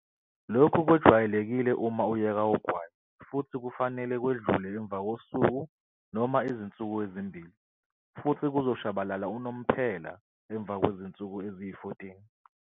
Lokhu kwejwayelekile uma uyeka ugwayi futhi kufanele kwedlule emva kosuku noma izinsuku ezimbili futhi kuzoshabalala unomphela emva kwezinsuku eziyi-14.